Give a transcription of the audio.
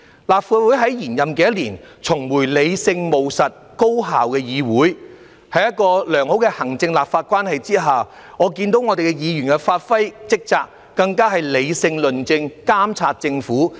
立法會在延任的一年重回理性、務實、高效的議會，在良好的行政立法關係下，我看到議員發揮職責，理性論政和監察政府。